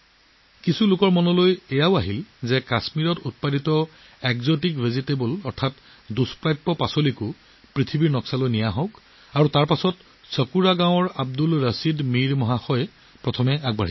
কিছুমানে ভাবিছিল যে কাশ্মীৰত উৎপাদিত বিদেশী শাক পাচলিবোৰ পৃথিৱীৰ মানচিত্ৰত কিয় আনিব লাগে তাৰফলত নো কি হ'ল চাকুৰা গাঁৱৰ আব্দুল ৰছিদ মিৰ জী ইয়াৰ বাবে প্ৰথম আহিছিল